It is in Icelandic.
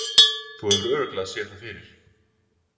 Þú hefur örugglega séð það fyrir.